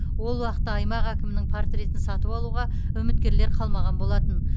ол уақытта аймақ әкімінің портретін сатып алуға үміткерлер қалмаған болатын